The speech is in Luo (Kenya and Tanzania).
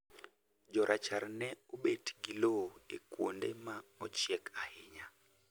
Jorachar ne obet gi lowo e kuonde ma ochiek ahinya